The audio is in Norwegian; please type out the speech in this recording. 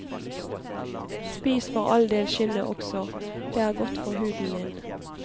Spis for all del skinnet også, det er godt for huden din.